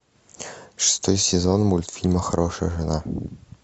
шестой сезон мультфильма хорошая жена